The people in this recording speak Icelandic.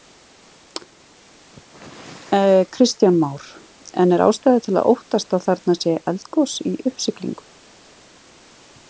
Kristján Már: En er ástæða til að óttast að þarna sé eldgos í uppsiglingu?